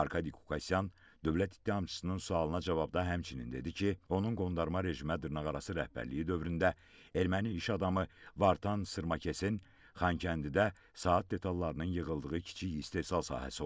Arkadi Qukasyan dövlət ittihamçısının sualına cavabda həmçinin dedi ki, onun qondarma rejimə dırnaqarası rəhbərliyi dövründə erməni iş adamı Vartan Sırmakesin Xankəndidə saat detallarının yığıldığı kiçik istehsal sahəsi olub.